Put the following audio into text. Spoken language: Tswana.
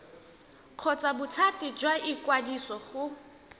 kgotsa bothati jwa ikwadiso go